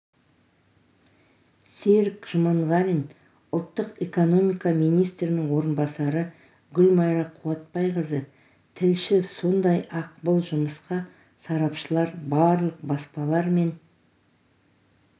серік жұманғарин ұлттық экономика министрінің орынбасары гүлмайра қуатбайқызы тілші сондай-ақ бұл жұмысқа сарапшылар барлық баспалар мен